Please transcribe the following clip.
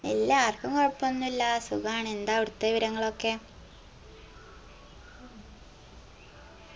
ഇല്ല ആർക്കും കൊഴപ്പൊന്നുല്ല സുഖാണ് എന്താ അവിട്ത്ത വിവരങ്ങളൊക്കെ